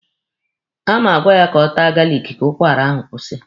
A ma agwa ya ka ọ taa galiki ka ụkwara ahụ kwụsị.